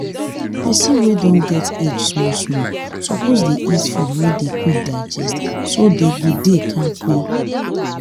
people wey don get age small small suppose dey eat food wey dey quick digestso that dey go dey kampe